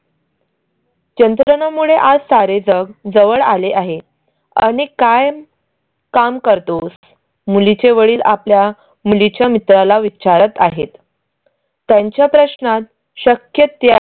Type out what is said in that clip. यंत्रणा मुळे आज सारे जग जवळ आले आहे आणि काय काम करतोस? मुलीचे वडील आपल्या मुलीच्या मित्राला विचारत आहेत. त्यांच्या प्रश्नात शक्य